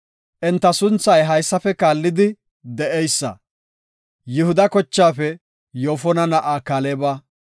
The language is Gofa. Enta sunthay haysafe kaallidi de7eysa. Yihuda kochaafe Yoofona na7aa Kaaleba;